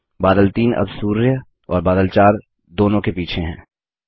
बादल 3 अब सूर्य और बादल 4 दोनों के पीछे है